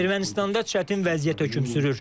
Ermənistanda çətin vəziyyət hökm sürür.